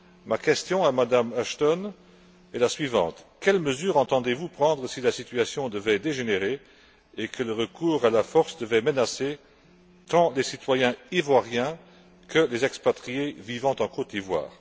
Ma question à Mme Ashton est la suivante quelles mesures entendez vous prendre si la situation devait dégénérer et que le recours à la force devait menacer tant les citoyens ivoiriens que les expatriés vivant en Côte d'Ivoire?